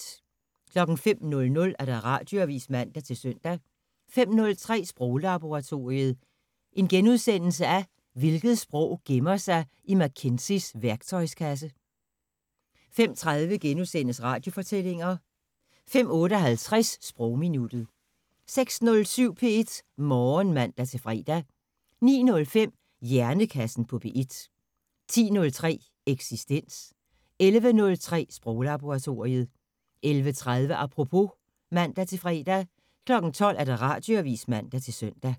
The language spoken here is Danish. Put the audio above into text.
05:00: Radioavisen (man-søn) 05:03: Sproglaboratoriet: Hvilket sprog gemmer sig i McKinseys værktøjskasse? * 05:30: Radiofortællinger * 05:58: Sprogminuttet 06:07: P1 Morgen (man-fre) 09:05: Hjernekassen på P1 10:03: Eksistens 11:03: Sproglaboratoriet 11:30: Apropos (man-fre) 12:00: Radioavisen (man-søn)